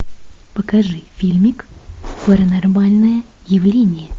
покажи фильмик паранормальное явление